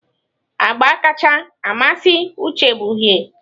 Agba kacha amasị Uche bụ uhie.